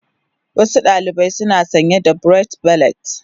Wasu ɗalibai suna sanye da barrate beret.